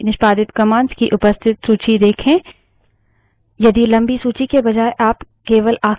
और enter दबायें पिछली निष्पादित commands की उपस्थित सूची देखें